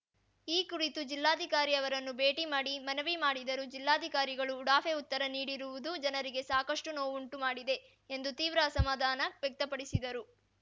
ಈ ಕುರಿತು ಜಿಲ್ಲಾಧಿಕಾರಿ ಅವರನ್ನು ಭೇಟಿ ಮಾಡಿ ಮನವಿ ಮಾಡಿದರೂ ಜಿಲ್ಲಾಧಿಕಾರಿಗಳು ಉಡಾಫೆ ಉತ್ತರ ನೀಡಿರುವುದು ಜನರಿಗೆ ಸಾಕಷ್ಟುನೋವುಂಟು ಮಾಡಿದೆ ಎಂದು ತೀವ್ರ ಅಸಮಾಧಾನ ವ್ಯಕ್ತಪಡಿಸಿದರು